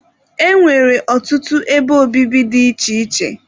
E nwere ọtụtụ ebe obibi dị iche iche.